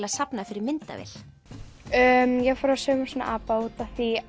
að safna fyrir myndavél ég fór að sauma svona apa út af því